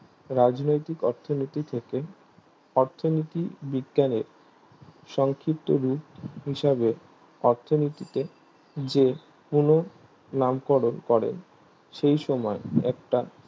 রাজনৈতিক অর্থনীতি থেকে অর্থনীতি বিজ্ঞানের সংক্ষিপ্ত রূপ হিসাবে অর্থনীতিতে যে কোনো নামকরণ করেন সেইসময় একটা